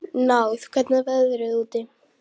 Náð, hvernig er veðrið úti?